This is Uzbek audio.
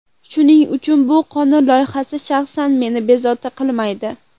Shuning uchun bu qonun loyihasi shaxsan meni bezovta qilmaydi.